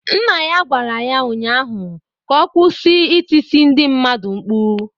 Nna ya gwara ya ụnyaahụ ka ọ kwụsị ịtịsị ndị mmadụ mkpu.